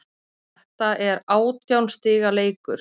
Þetta er átján stiga leikur